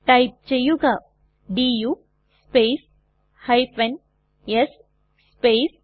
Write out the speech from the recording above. type ചെയ്യുക du space s space